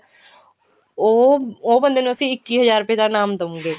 ਉਹ ਉਹ ਬੰਦੇ ਨੂੰ ਅਸੀਂ ਇੱਕੀ ਹਜ਼ਾਰ ਰੂਪਏ ਦਾ ਇਨਾਮ ਦਊਂਗੇ